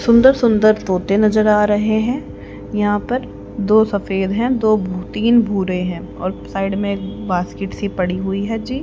सुंदर सुंदर तोते नजर आ रहे हैं यहां पर दो सफेद हैं तीन भूरे है और साइड में बास्केट की पड़ी हुई है जी--